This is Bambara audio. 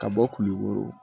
Ka bɔ kulukoro